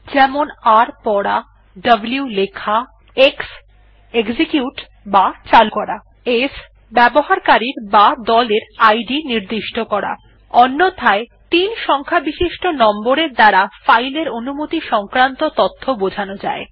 যেমন r পড়া w লেখা x এক্সিকিউট বা চালু করা s ব্যবহারকারীর বা দলের ইদ নির্দিষ্ট করা অন্যথায় ৩ সংখ্যাbishisto নম্বর এর দ্বারা ফাইল এর অনুমনি সংক্রান্ত তথ্য বোঝানো যায়